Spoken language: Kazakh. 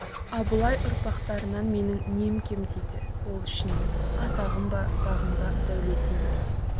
абылай ұрпақтарынан менің нем кем дейді ол ішінен атағым ба бағым ба дәулетім бе